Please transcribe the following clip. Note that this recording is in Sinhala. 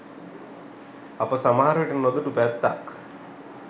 අප සමහරවිට නොදුටු පැත්තක්